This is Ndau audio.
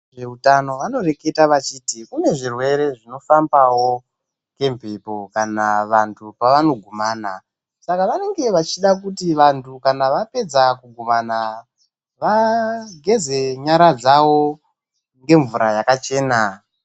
Vezveutano vanoreketa vachiti kune zvirwere zvinofambawo ngemhepo kana vantu pavanogumana Saka vanenge vachida kuti kana vantu vapedza kugumana vageze nyara dzavo ngemvura yakachena.